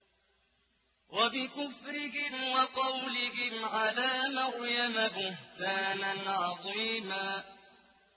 وَبِكُفْرِهِمْ وَقَوْلِهِمْ عَلَىٰ مَرْيَمَ بُهْتَانًا عَظِيمًا